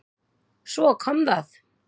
Svo kom það!